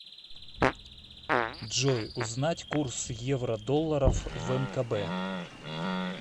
джой узнать курс евро долларов в мкб